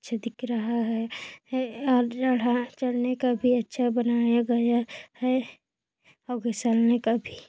अच्छा दिख रहा है है और चढ़ा चढ़ने को भी अच्छा बनाया गया है अउ फिसलने का भी --